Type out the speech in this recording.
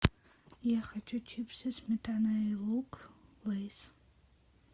я хочу чипсы сметана и лук лейс